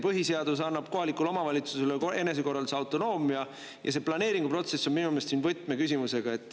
Põhiseadus annab kohalikule omavalitsusele enesekorralduse autonoomia ja see planeeringuprotsess on minu meelest siin võtmeküsimusega.